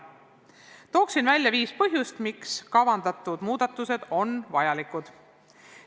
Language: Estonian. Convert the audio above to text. Toon välja viis põhjust, miks kavandatud muudatused on vajalikud.